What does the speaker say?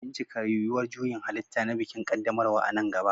Bincika yuwuwar juyin halitta na bikin ƙaddamarwa a nan gaba.